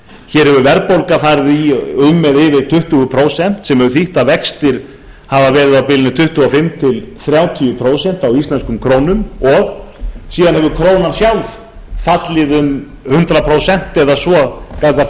hér hefur verðbólga farið í um eða yfir tuttugu prósent sem hefur þýtt að vextir hafa verið á bilinu tuttugu og fimm til þrjátíu prósent á íslenskum krónum og síðan hefur krónan sjálf fallið um hundrað prósent eða að gagnvart